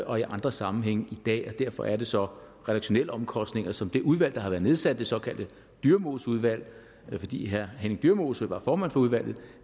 og i andre sammenhænge i dag derfor er det så redaktionelle omkostninger som det udvalg der har været nedsat det såkaldte dyremoseudvalg fordi henning dyremose var formand for udvalget